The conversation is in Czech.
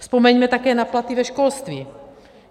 Vzpomeňme také na platy ve školství.